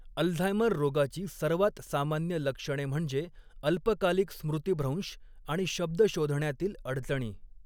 Alzheimer रोगाची सर्वात सामान्य लक्षणे म्हणजे अल्पकालीक स्मृतिभ्रंश आणि शब्द शोधण्यातील अडचणी.